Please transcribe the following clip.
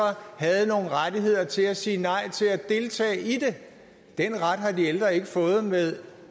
har nogle rettigheder til at sige nej til at deltage i det den ret har de ældre ikke fået med